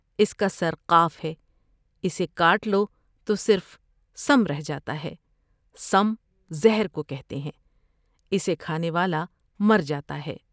اس کا سر '' قاف '' ہے۔ اسے کاٹ لوتو صرف '' سم '' رہ جا تا ہے ۔سم زہر کو کہتے ہیں ۔اسے کھانے والا مر جا تا ہے ۔